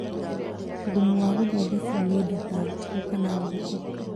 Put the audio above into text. Thumu wa gũthondekwo nĩ indo ta ngũkũ kana mbũkũ